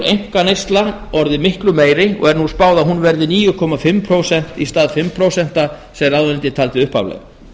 einkaneysla orðið miklu meiri og er nú spáð að hún verði níu og hálft prósent í stað fimm prósent sem ráðuneytið taldi upphaflega